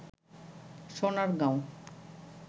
Sonargaon